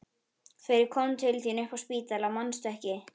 Þegar ég kom til þín upp á spítala, manstu ekki?